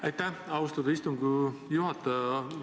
Aitäh, austatud istungi juhataja!